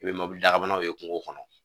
I bɛ mobili daba ye kungo kɔnɔ